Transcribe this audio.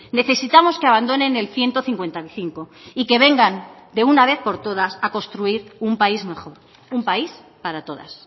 necesitamos que abandonen el ciento cincuenta y cinco y que vengan de una vez por todas a construir un país mejor un país para todas